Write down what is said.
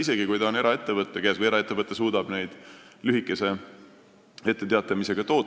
Tegu võib olla ka eraettevõtetega – eraettevõttedki suudavad ehk lühikese etteteatamise korral toota, mida vaja.